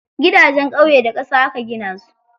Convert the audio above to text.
Gidajen ƙauye da ƙasa aka gina su.